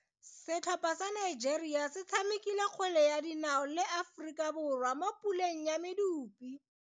Setlhopha sa Nigeria se tshamekile kgwele ya dinao le Aforika Borwa mo puleng ya medupe.